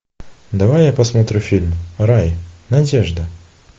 давай я посмотрю фильм рай надежда